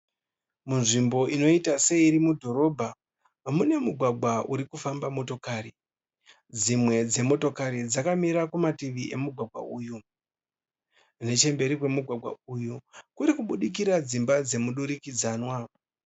Munzvimbo inoita seiri mudhorobha mune mugwagwa uri kufamba motokari. Dzimwe dzemotokati dzakamira kumativi emugwagwa uyu. Nechemberi kwemugwagwa uyu kuri kubudikira dzimba dzemudurikidzanwa.